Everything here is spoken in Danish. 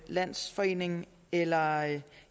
landsforening eller